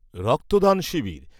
রক্তদান শিবির